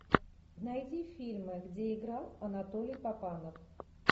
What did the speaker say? найди фильмы где играл анатолий папанов